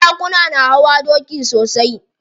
Sarakuna na hawa doki sosai.